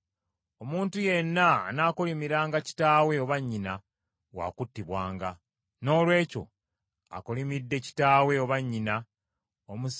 “ ‘Omuntu yenna anaakolimiranga kitaawe oba nnyina wa kuttibwanga. Noolwekyo akolimidde kitaawe oba nnyina, omusaayi gwe gunaabanga ku mutwe gwe.